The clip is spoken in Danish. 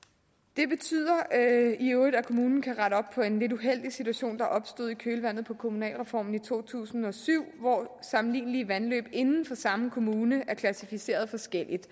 det betyder i øvrigt at kommunen kan rette op på en lidt uheldig situation der opstod i kølvandet på kommunalreformen i to tusind og syv hvor sammenlignelige vandløb inden for samme kommune er klassificeret forskelligt